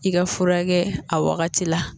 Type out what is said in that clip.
I ka furakɛ a wagati la